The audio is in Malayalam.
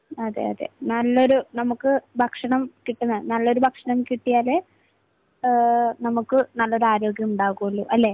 അതെയതെ. നമുക്ക് നല്ലൊരു ഭക്ഷണം കിട്ടുന്ന, നല്ലൊരു ഭക്ഷണം കിട്ടിയാലേ എഹ് നമുക്ക് നല്ലൊരു ആരോഗ്യമുണ്ടാവുകയുള്ളൂ. അല്ലെ?